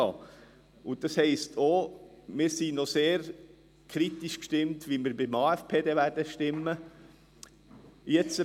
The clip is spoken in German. Das heisst auch, dass wir noch sehr kritisch gestimmt sind, wie wir beim AFP stimmen werden.